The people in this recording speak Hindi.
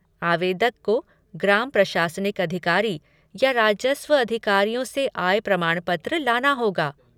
आवेदक को ग्राम प्रशासनिक अधिकारी या राजस्व अधिकारियों से आय प्रमाण पत्र लाना होगा।